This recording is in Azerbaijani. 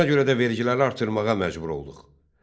Ona görə də vergiləri artırmağa məcbur olduq.